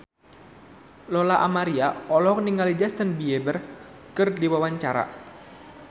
Lola Amaria olohok ningali Justin Beiber keur diwawancara